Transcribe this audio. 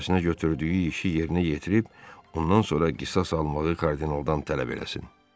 Öhdəsinə götürdüyü işi yerinə yetirib, ondan sonra qisas almağı kardinaldan tələb eləsin.